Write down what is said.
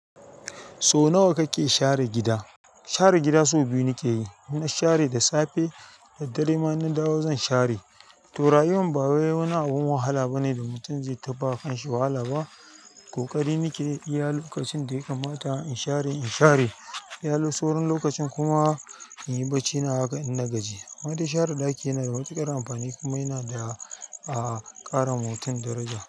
So nawa kake share gida? Share gida sau biyu nike yi. In na share da safe da dare. Ma in na dawo zan share. To rayuwar baya wani abu wahala bane da mutum zai taɓa kanshi wahala ba koƙari nake yi a lokacin da ya kamata in share in share. Wani saurin lokacin kuma in yi bacina a haka in na gaji. Wata share ɗaki yana da matuƙar amfani kuma yana da ƙara ma mutum daraja.